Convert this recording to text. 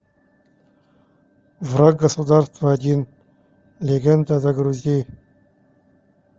враг государства один легенда загрузи